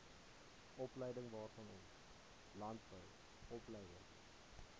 opleidingwaarvanom landbou opleiding